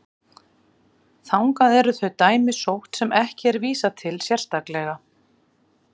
þangað eru þau dæmi sótt sem ekki er vísað til sérstaklega